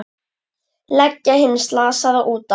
Leggja hinn slasaða út af.